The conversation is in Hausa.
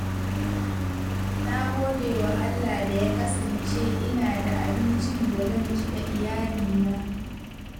Na gode wa Allah da ya kasance ina da abincin da zan ci da iyalina.